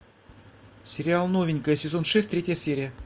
сериал новенькая сезон шесть третья серия